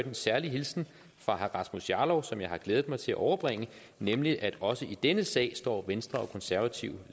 en særlig hilsen fra herre rasmus jarlov som jeg har glædet mig til at overbringe nemlig at også i denne sag står venstre og konservative